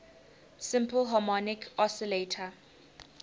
simple harmonic oscillator